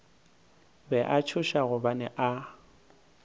be a tšhoša gobane a